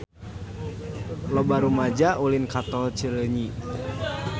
Loba rumaja ulin ka Tol Cileunyi